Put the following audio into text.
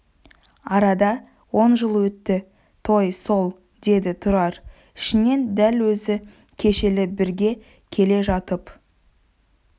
арада он жыл өтті той сол деді тұрар ішінен дәл өзі кешелі бері бірге келе жатып